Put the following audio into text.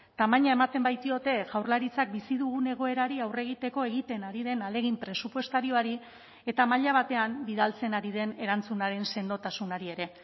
tamaina ematen baitiote jaurlaritzak bizi dugun egoerari aurre egiteko egiten ari den ahalegin presupuestarioari eta maila batean bidaltzen ari den erantzunaren sendotasunari ere